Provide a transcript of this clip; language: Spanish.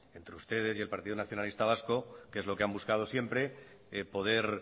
entre ustedes y el partido nacionalista vasco que es lo que han buscado siempre poder